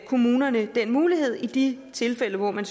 kommunerne den mulighed i de tilfælde hvor man